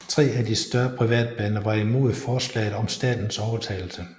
Tre af de større privatbaner var imod forslaget om statens overtagelse